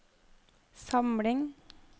samling